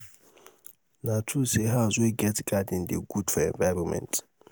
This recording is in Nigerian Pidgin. na true sey house wey get garden dey good for environment?